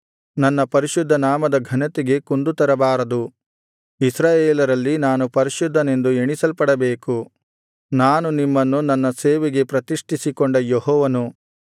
ನನ್ನ ಪರಿಶುದ್ಧ ನಾಮದ ಘನತೆಗೆ ಕುಂದು ತರಬಾರದು ಇಸ್ರಾಯೇಲರಲ್ಲಿ ನಾನು ಪರಿಶುದ್ಧನೆಂದು ಎಣಿಸಲ್ಪಡಬೇಕು ನಾನು ನಿಮ್ಮನ್ನು ನನ್ನ ಸೇವೆಗೆ ಪ್ರತಿಷ್ಠಿಸಿಕೊಂಡ ಯೆಹೋವನು